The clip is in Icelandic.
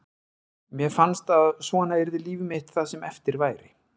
Mér fannst að svona yrði líf mitt það sem eftir væri.